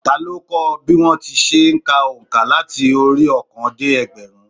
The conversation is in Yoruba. Ta ló kọ́ o bí wón se n ka ònkà láti orí óòkan dé ẹgbẹ̀rún